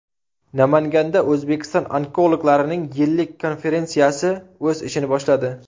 Namanganda O‘zbekiston onkologlarining yillik konferensiyasi o‘z ishini boshladi.